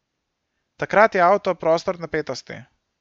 Takrat je avto prostor napetosti.